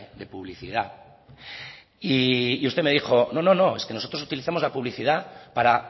de publicidad y usted me dijo no no es que nosotros utilizamos la publicidad para